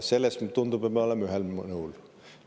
Selles, tundub, me oleme ühel nõul.